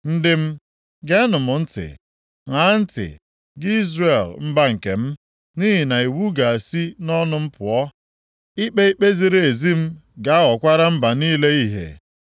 Ndị m, geenụ m ntị; ṅaa ntị, gị Izrel mba nkem, nʼihi na iwu m ga-esi nʼọnụ m pụọ; ikpe ikpe ziri ezi m ga-aghọkwara mba niile ìhè.